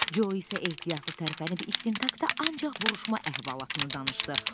Co isə ehtiyatlı tərpənib istintaqda ancaq vuruşma əhvalatını danışdı.